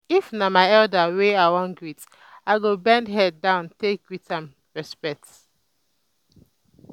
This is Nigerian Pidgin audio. if um na my um elder wey i wan greet i go bend head down take um give am respect